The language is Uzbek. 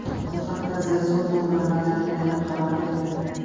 Bu haqda The Sun o‘z manbalariga tayanib xabar berdi .